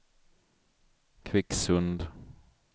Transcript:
Kvicksund